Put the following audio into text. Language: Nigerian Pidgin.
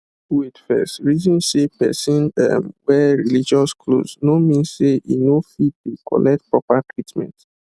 wait first reason say person um wear religious clothes no mean say e no fit dey collect proper treatment